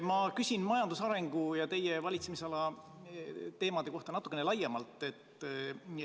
Ma küsin majanduse arengu ja teie valitsemisala teemade kohta natukene laiemalt.